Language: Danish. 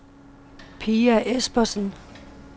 Pia Espersen